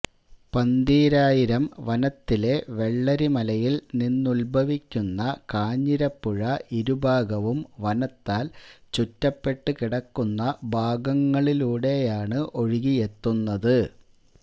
പന്തീരായിരം വനത്തിലെ വെള്ളരിമലയില് നിന്നുത്ഭവിക്കുന്ന കാഞ്ഞിരപ്പുഴ ഇരുഭാഗവും വനത്താല് ചുറ്റപ്പെട്ടുകിടക്കുന്ന ഭാഗങ്ങളിലൂടെയാണ് ഒഴുകിയെത്തുന്നത്